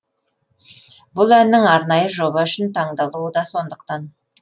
бұл әннің арнайы жоба үшін таңдалуы да сондықтан